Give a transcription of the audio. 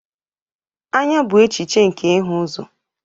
Anya bụ echiche nke ịhụ ụzọ